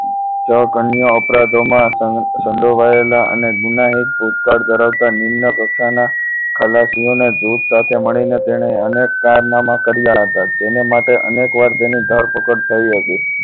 જળ કન્યા અપરાધોમાં સંજોવાયેલા અને એક ગુનાહિત ભૂતકાળ ધરાવતા નિમ્નકક્ષાના ખલાસીઓના જૂથ સાથે મળીને તેણે અનેક કારનામા કર્યા હતા તેને માટે અનેક વાર ધરપકડ થઈ હતી